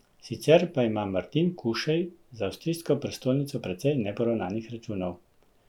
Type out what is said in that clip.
Sicer pa ima Martin Kušej z avstrijsko prestolnico precej neporavnanih računov.